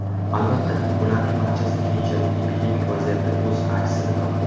Albatta, bularning barchasi keyinchalik epidemik vaziyatda o‘z aksini topdi.